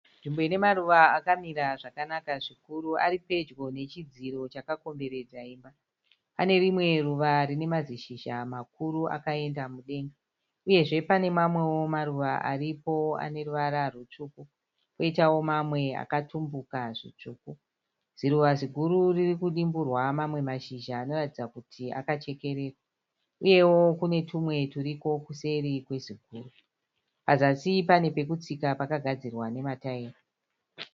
Nzvimbo ine maruva akamira zvakanaka zvikuru. Ari pedyo nechidziro chakakomberedza imba . Pane rimwe ruva rine mazishizha makuru akaenda mudenga uyezve pane mamwewo maruva aripo ane ruvara rutsvuku kwoitawo mamwe akatumbuka zvitsvuku. Ziruva ziguru riri kudimburwa mamwe mazhizha anoratidza kuti akachekererwa uyewo kune twumwe turiko kuseri kweziguru. Pazasi pane pekutsika pakagadzirwa nemataera.